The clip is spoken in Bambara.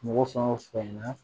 Mɔgɔ fan o fan na